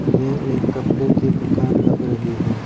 यह एक कपड़े की दुकान लग रही है।